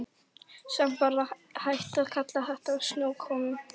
Samt varla hægt að kalla þetta snjókomu.